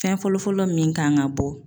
Fɛn fɔlɔfɔlɔ min kan ka bɔ.